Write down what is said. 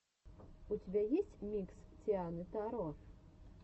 у тебя есть микс тианы таро